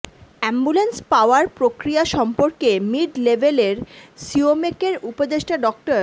ambulance পাওয়ার প্রক্রিয়া সম্পর্কে মিড লেভেল এর সিওমেক এর উপদেষ্টা ডা